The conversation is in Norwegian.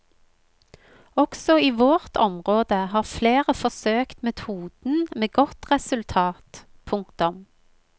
Også i vårt område har flere forsøkt metoden med godt resultat. punktum